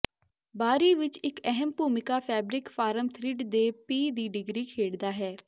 ਬਾਹਰੀ ਵਿੱਚ ਇੱਕ ਅਹਿਮ ਭੂਮਿਕਾ ਫੈਬਰਿਕ ਫਾਰਮ ਥਰਿੱਡ ਦੇ ਪੀਹ ਦੀ ਡਿਗਰੀ ਖੇਡਦਾ ਹੈ